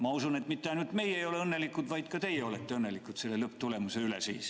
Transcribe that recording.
Ma usun, et mitte ainult meie ei ole õnnelikud, vaid ka teie olete õnnelikud selle lõpptulemuse üle.